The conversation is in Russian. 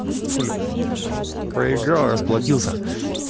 хули блять поиграл расплатился